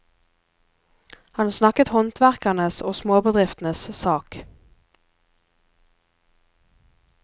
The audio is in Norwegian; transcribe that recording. Han snakket håndverkernes og småbedriftenes sak.